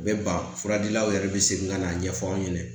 U bɛ ban furadilanw yɛrɛ bɛ segin ka na ɲɛfɔ an ɲɛna